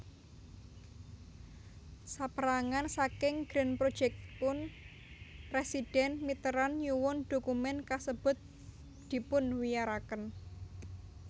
Sapérangan saking Grand Projectipun Presiden Mitterrand nyuwun dokumen kasebut dipunwiyaraken